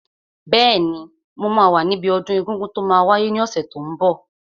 Bẹ́ẹ̀ni, mo máa wà níbi ọdún egungun tó máa wáyé ní ọ̀sẹ̀ tó n bọ̀